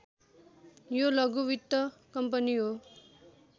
यो लघु वित्त कम्पनी हो